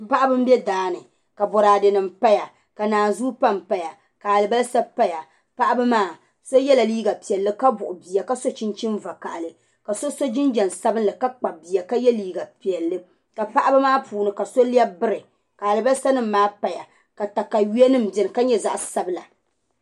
Paɣaba n bɛ daani ka boraadɛ nim paya ka naanzuu panpaya ka alibarisa paya paɣaba maa so yɛla liiga piɛlli ka buɣu bia ka so chinchini vakaɣali ka so so jinjisabinli ka kpabi bia ka yɛ liiga piɛlli ka paɣaba maa puuni ka so lɛbi biri ka alibarisa nim maa paya ka katawiya nim biɛni ka nyɛ zaɣ sabila